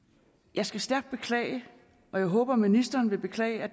jeg skal stærkt beklage og jeg håber at ministeren vil beklage at